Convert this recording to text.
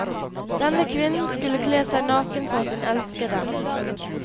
Denne kvinnen skulle kle seg naken for sin elskede.